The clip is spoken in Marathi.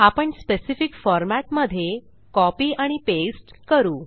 आपण स्पेसिफिक फॉर्मॅट मध्ये सीओ पाय आणि पास्ते करू